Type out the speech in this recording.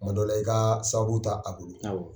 Kuma dɔ la i ka sababu t'a a bolo